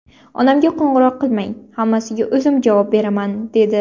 Onamga qo‘ng‘iroq qilmang, hammasiga o‘zim javob beraman, dedi.